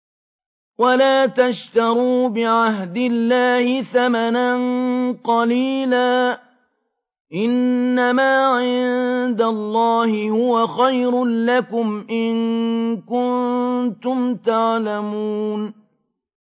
وَلَا تَشْتَرُوا بِعَهْدِ اللَّهِ ثَمَنًا قَلِيلًا ۚ إِنَّمَا عِندَ اللَّهِ هُوَ خَيْرٌ لَّكُمْ إِن كُنتُمْ تَعْلَمُونَ